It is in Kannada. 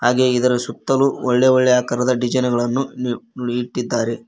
ಹಾಗೆ ಇದರ ಸುತ್ತಲೂ ಒಳ್ಳೆ ಒಳ್ಳೆ ಆಕಾರದ ಡಿಸೈನ್ ಗಳನ್ನು ಇಟ್ಟಿದ್ದಾರೆ.